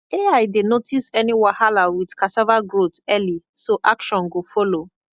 ai dey notice any wahala with cassava growth early so action go follow